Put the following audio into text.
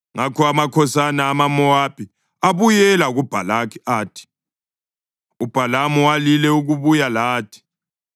Ngakho amakhosana amaMowabi abuyela kuBhalaki athi, “UBhalamu walile ukubuya lathi.”